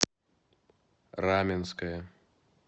раменское